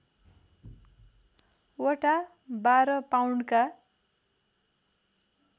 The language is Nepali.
वटा १२ पाउन्डका